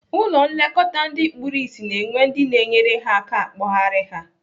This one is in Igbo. Ụlọ nlekọta ndị kpuru ịsị na-enwe ndị na-enyere ha aka akpọgharị ha.